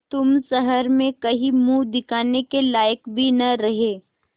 तुम शहर में कहीं मुँह दिखाने के लायक भी न रहे